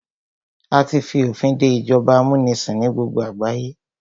A tí fi òfin dé ìjọba amúnisìn ní gbogbo àgbáyé.